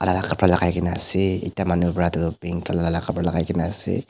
alak kapra la kai kena ase ekta manu para toh pink colour la kapra lai ka kena ase.